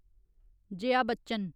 जाया बच्चन